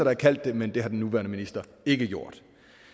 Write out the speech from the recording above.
har kaldt det men det har den nuværende minister ikke gjort